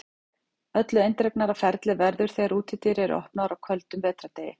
Öllu eindregnara ferli verður þegar útidyr eru opnaðar á köldum vetrardegi.